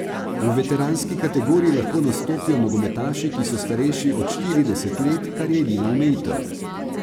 V veteranski kategoriji lahko nastopijo nogometaši, ki so starejši od štirideset let, kar je edina omejitev.